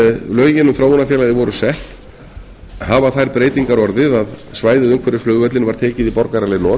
lögin um þróunarfélagið voru sett hafa þær breytingar orðið að svæðið umhverfis flugvöllinn var tekið í borgaraleg not